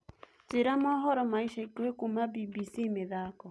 njĩĩra mohoro ma ĩca ĩkũhĩ kũma b.b.c mithako